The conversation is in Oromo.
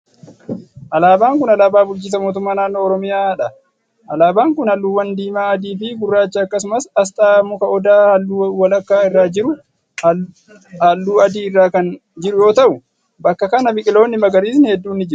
Alaabaan kun, alaabaa bulchiinsa mootummaa naannoo Oromiyaa dha. Alaabaan kun haalluuwwan :diimaa, adii fi gurraacha akkasumas asxaa muka odaa haalluu walakkaa irra jiru haalluu adii irra kan jiru yoo ta'u, bakka kana biqiloonni magariisni hedduun ni jiru.